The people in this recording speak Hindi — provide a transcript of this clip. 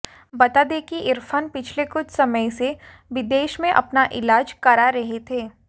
बता दें कि इरफान पिछले कुछ समय से विदेश में अपना इलाज करा रहे थे